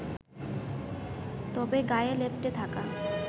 তবে গায়ে লেপ্টে থাকা